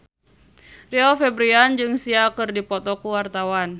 Rio Febrian jeung Sia keur dipoto ku wartawan